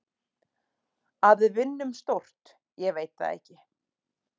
Að við vinnum stórt, ég veit það ekki.